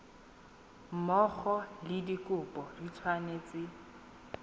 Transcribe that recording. mmogo le dikopo di tshwanetse